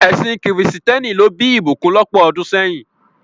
Ẹsìn kìrìsìtẹ́nì ló bí ìbùkún lọ́pọ̀ ọdún sẹ́yìn.